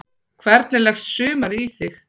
Hvernig leggst sumarið í þig?